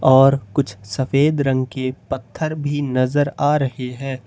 और कुछ सफेद रंग के पत्थर भी नजर आ रहे है।